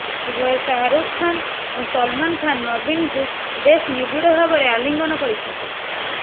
ଉଭୟ ଶାହରୁଖ୍ ଖାନ୍ ଓ ସଲମାନ୍ ଖାନ୍ ନବୀନଙ୍କୁ ବେଶ୍ ନିବିଡ଼ ଭାବରେ ଆଲିଙ୍ଗନ କରିଛନ୍ତି